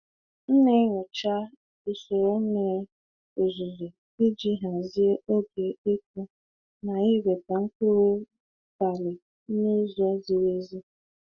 M na-enyocha usoro mmiri ozuzo iji hazie oge ịkụ na iweta mkpụrụ balị n'ụzọ ziri ezi.